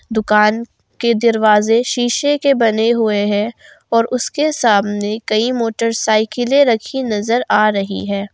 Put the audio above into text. दुकान के दरवाजे शीशे के बने हुए हैं और उसके सामने कई मोटरसाइकिले रखी नजर आ रही है।